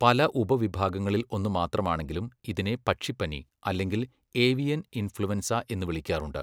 പല ഉപവിഭാഗങ്ങളിൽ ഒന്ന് മാത്രമാണെങ്കിലും ഇതിനെ 'പക്ഷിപനി' അല്ലെങ്കിൽ 'ഏവിയൻ ഇൻഫ്ലുവൻസ' എന്ന് വിളിക്കാറുണ്ട്.